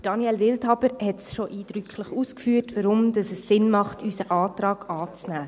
Daniel Wildhaber hat bereits eindrücklich ausgeführt, weshalb es sinnvoll ist, unseren Antrag anzunehmen.